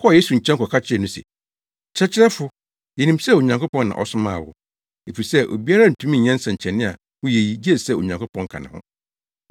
kɔɔ Yesu nkyɛn kɔka kyerɛɛ no se, “Kyerɛkyerɛfo, yenim sɛ Onyankopɔn na ɔsomaa wo, efisɛ obiara ntumi nyɛ nsɛnkyerɛnne a woyɛ yi gye sɛ Onyankopɔn ka ne ho.”